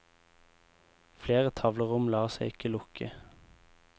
Flere tavlerom lar seg ikke lukke.